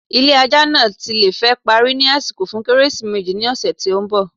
ilé ajá naa le ti fẹ́ parí ni àsìkò fun kérésìmésì ni ọ̀sè tí ń bọ̀.